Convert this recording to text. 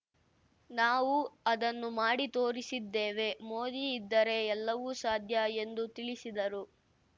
ನಾವು ಅದನ್ನು ಮಾಡಿ ತೋರಿಸಿದ್ದೇವೆ ಮೋದಿ ಇದ್ದರೆ ಎಲ್ಲವೂ ಸಾಧ್ಯ ಎಂದು ತಿಳಿಸಿದರು